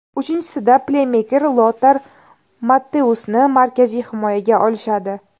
Uchinchisida pleymeker Lotar Matteusni markaziy himoyaga olishadi.